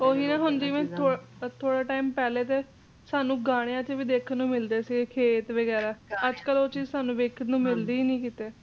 ਹਾਂਜੀ ਜਿਵੇਂ ਥੋੜੇ ਤ ਪਹਿਲਾ ਤੁਹਾਨੂੰ ਗਾਣਿਆਂ ਚ ਵੀ ਦੇਖਣ ਨੂੰ ਮਿਲਦੇ ਸੀ ਅੱਜਕਲ੍ਹ ਓਹ ਚੀਜ਼ ਤੁਹਾਨੂੰ ਦੇਖਣ ਨੂੰ ਮਿਲਦੀ ਹੀ ਨਹੀ ਕਿਥੇ